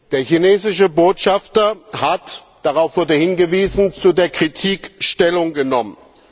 Der chinesische Botschafter hat darauf wurde hingewiesen zu der Kritik Stellung genommen.